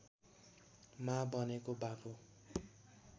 मा बनेको बाबु